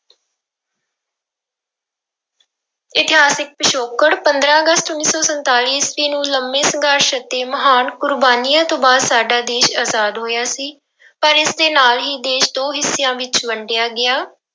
ਇਤਿਹਾਸਿਕ ਪਿਛੋਕੜ, ਪੰਦਰਾਂ ਅਗਸਤ ਉੱਨੀ ਸੌ ਸੰਤਾਲੀ ਈਸਵੀ ਨੂੰ ਲੰਬੇ ਸੰਘਰਸ਼ ਅਤੇ ਮਹਾਨ ਕੁਰਬਾਨੀਆਂ ਤੋਂ ਬਾਅਦ ਸਾਡਾ ਦੇਸ ਆਜ਼ਾਦ ਹੋਇਆ ਸੀ ਪਰ ਇਸਦੇ ਨਾਲ ਹੀ ਦੇਸ ਦੋ ਹਿੱਸਿਆਂ ਵਿੱਚ ਵੰਡਿਆ ਗਿਆ।